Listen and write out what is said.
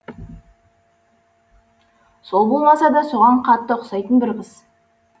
сол болмаса да соған қатты ұқсайтын бір қыз